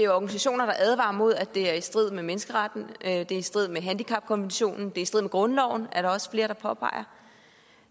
organisationer der advarer mod at det er i strid med menneskeretten og at det er i strid med handicapkonventionen og i strid med grundloven er der også flere der påpeger